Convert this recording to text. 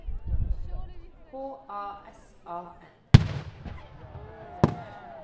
H A S A N